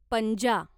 पंजा